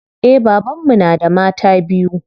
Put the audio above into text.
Eh baban mu na da mata biyu.